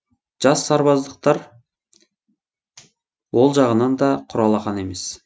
жас сарбаздықтар ол жағынан да құр алақан емес